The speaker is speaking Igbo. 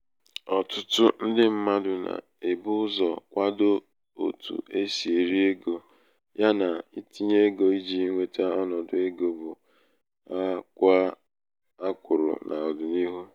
ọ̀ṭụ̣tụ ndị mmadụ̀ nà-èbu ụzọ̀ kwadoo otu e sì èri egō ya nà itīnyē egō ijī nweta ọnọ̀dụ̀ egō bụ a kwàa a kwụrụ n’ọ̀dị̀nihu.